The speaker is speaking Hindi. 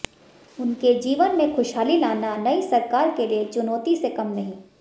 उनके जीवन में खुशहाली लाना नई सरकार के लिए चुनौती से कम नहीं